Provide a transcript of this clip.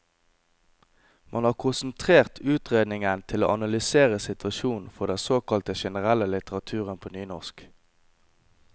Man har konsentrert utredningen til å analysere situasjonen for den såkalte generelle litteraturen på nynorsk.